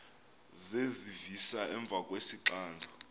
zezivisa emva kwesixando